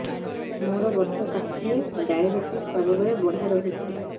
ମୋର ବର୍ଷ ଷାଠିଏ ଡାଏବେଟିସ ସବୁବେଳ ବଢ଼ା ରହୁଛି